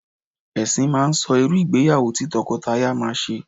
Ẹ̀sìn máa ń sọ irú ìgbéyàwó tí tọkọtaya máa ṣe